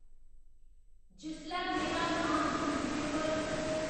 जिसलै मेरा नाँऽ न्यूजपेपर